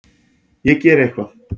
Ég geri eitthvað.